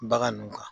Bagan nun kan